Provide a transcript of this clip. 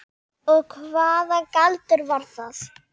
Og hvaða galdur var það?